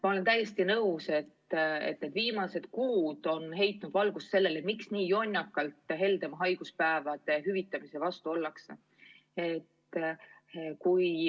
Ma olen täiesti nõus, et need viimased kuud on heitnud valgust sellele, miks nii jonnakalt heldema haiguspäevade hüvitamise vastu ollakse.